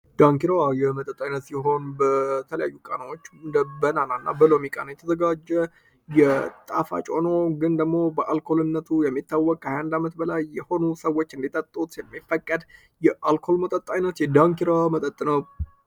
ዳንኪirዋ የመጠጣይነት ሲሆን በተለያዩ ቃናዎች እንደ በናና እና በሎሚቃን የተዘጋጀ የጣፋጮኖ ግን ደግሞ በአልኮልነቱ የሚታወቅ 21 ዓመት በላይ የሆኑ ሰዎች እንዲጠጡት የሚፈቀድ የአልኮል መጠጣ አይነት የዳንኪራ መጠጥ ነው።